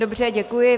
Dobře, děkuji.